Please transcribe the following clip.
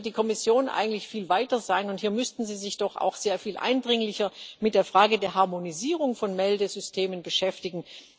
Also hier müsste die Kommission eigentlich viel weiter sein, und hier müssten Sie sich doch auch sehr viel eindringlicher mit der Frage der Harmonisierung von Meldesystemen beschäftigen!